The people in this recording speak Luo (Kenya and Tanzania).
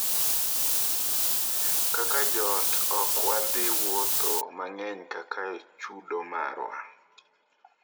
"Kaka joot ok wadhi wuotho mang'eny kaka chudo marwa."""